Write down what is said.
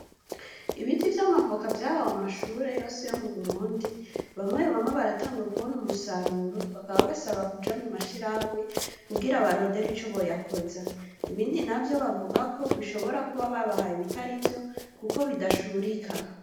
Ibiti vy'amavoka vyahawe amashure yose yo mu Burundi bamwe bamwe baratanguye kubona umusaruro bakaba basaba kuja mu mashirahamwe kugira barondere ico boyakoza ibindi navyo bavugako bishobora kuba babahaye ibitarivyo kuko bidashurika.